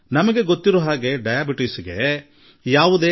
ಸಕ್ಕರೆ ಕಾಯಿಲೆಗೆ ಚಿಕಿತ್ಸೆ ಇಲ್ಲ ಎಂಬುದು ನಮಗೆ ಗೊತ್ತು